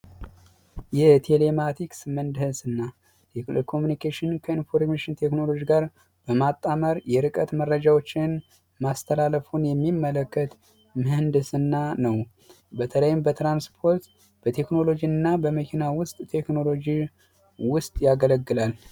የቴሌማቲክስ ምህንድስና የቴሌኮሙኒኬሽን ከቴክኖሎጂ ጋር በማጣመር መረጃዎችን ማስተላለፍን የሚመለከት ምህንድስና ነው፤ በተለይም በትራንስፖርት፣ በመኪናና በቴክኖሎጂ ውስጥ ያገለግላል።